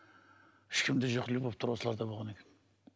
ешкімде жоқ любовьтар осыларда болған екен